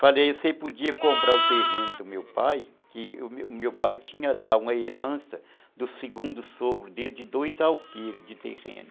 Falei, você podia comprar o terreno do meu pai, que o meu pai tinha dado uma herança do segundo sogro dele, de dois alqueiros de terreno.